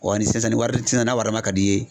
Wa ni sisan ni wari sisan n'a wari lama ka d'i ye.